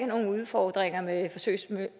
nogen udfordringer med forsøgsmøller